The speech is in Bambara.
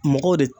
Mɔgɔw de